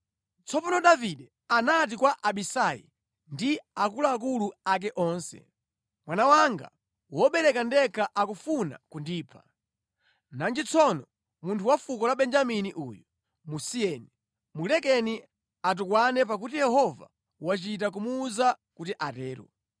Tsono Davide anati kwa Abisai ndi akuluakulu ake onse, “Mwana wanga wobereka ndekha akufuna kundipha. Nanji tsono munthu wa fuko la Benjamini uyu! Musiyeni; mulekeni atukwane pakuti Yehova wachita kumuwuza kuti atero.